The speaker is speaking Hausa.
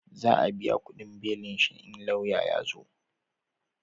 Za a biya kudin belin shi in lauya ya zo